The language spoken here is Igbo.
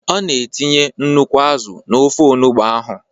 Ọ na etinye nnukwu azụ n'ofe onugbo ahụ.